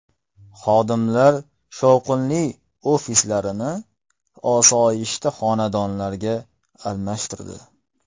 Xodimlar shovqinli ofislarni osoyishta xonadonlarga almashtirdi.